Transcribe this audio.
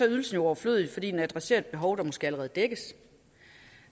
ydelsen jo overflødig fordi den adresserer et behov der måske allerede dækkes